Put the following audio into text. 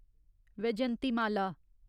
Vyjayanthimala